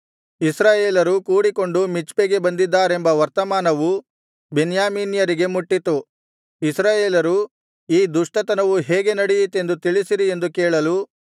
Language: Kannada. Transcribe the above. ಇಸ್ರಾಯೇಲರು ಕೂಡಿಕೊಂಡು ಮಿಚ್ಪೆಗೆ ಬಂದಿದ್ದಾರೆಂಬ ವರ್ತಮಾನವು ಬೆನ್ಯಾಮೀನ್ಯರಿಗೆ ಮುಟ್ಟಿತು ಇಸ್ರಾಯೇಲರು ಈ ದುಷ್ಟತನವು ಹೇಗೆ ನಡೆಯಿತೆಂದು ತಿಳಿಸಿರಿ ಎಂದು ಕೇಳಲು